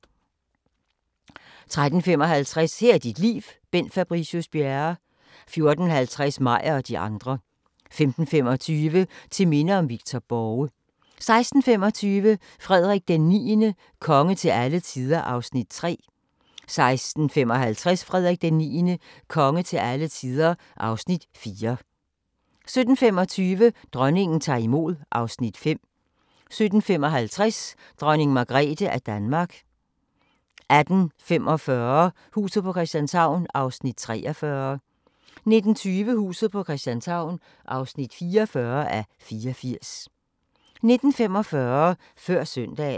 13:55: Her er dit liv – Bent Fabricius Bjerre 14:50: Meyer og de andre 15:25: Til minde om Victor Borge 16:25: Frederik IX – konge til alle tider (Afs. 3) 16:55: Frederik IX – konge til alle tider (Afs. 4) 17:25: Dronningen tager imod (Afs. 5) 17:55: Dronning Margrethe af Danmark 18:45: Huset på Christianshavn (43:84) 19:20: Huset på Christianshavn (44:84) 19:45: Før Søndagen